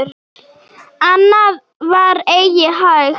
Annað var eigi hægt.